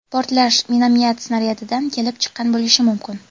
portlash minomyot snaryadidan kelib chiqqan bo‘lishi mumkin.